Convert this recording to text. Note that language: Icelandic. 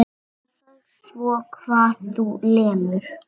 Passaðu svo hvar þú lemur.